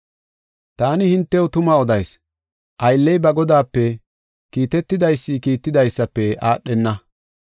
Taani hintew tuma odayis; aylley ba godaape, kiitetidaysi kiittidaysafe aadhenna.